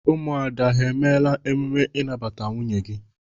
Ụmụada ha emela ememe ịnabata nwunye gi?